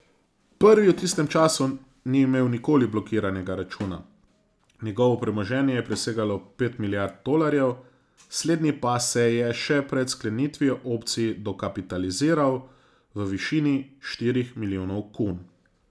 Prvi v tistem času ni imel nikoli blokiranega računa, njegovo premoženje je presegalo pet milijard tolarjev, slednji pa se je še pred sklenitvijo opcij dokapitaliziral v višini štirih milijonov kun.